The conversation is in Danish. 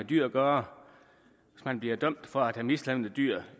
dyr at gøre hvis man bliver dømt for at have mishandlet dyr